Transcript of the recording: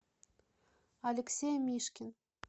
алексей мишкин